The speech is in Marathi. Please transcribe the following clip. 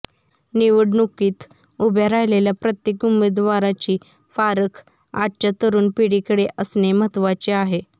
निवडणुकीत उभ्या राहिलेल्या प्रत्येक उमेदवाराची पारख आजच्या तरुण पिढीकडे असणे महत्त्वाचे आहे